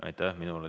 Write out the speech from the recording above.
Aitäh!